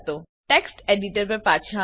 હવે text editor પર પાછા આવીએ